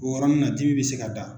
O yɔrɔnin na dimi bɛ se ka da.